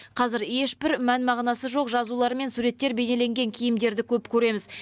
қазір ешбір мән мағынасы жоқ жазулары мен суреттер бейнеленген киімдерді көп көреміз